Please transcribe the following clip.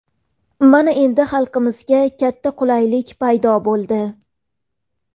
Mana, endi xalqimizga katta qulaylik paydo bo‘ldi.